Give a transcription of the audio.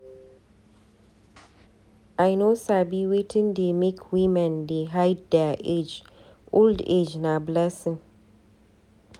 I no sabi wetin dey make women dey hide their age, old age na blessing.